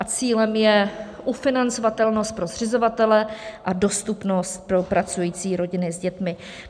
A cílem je ufinancovatelnost pro zřizovatele a dostupnost pro pracující rodiny s dětmi.